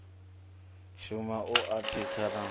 shume u athatshiwa na u